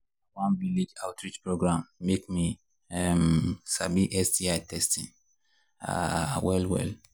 na one village outreach program make me um sabi sti testing um well well